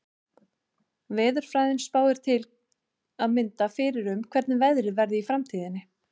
Veðurfræðin spáir til að mynda fyrir um hvernig veðrið verði í framtíðinni.